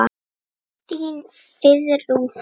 Þín, Friðrún Fanný.